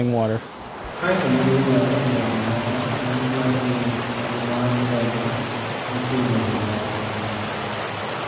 Kae to ne giywaye e ndege moro ma ne giwacho ni en mar ndege moting'o jo mahundu.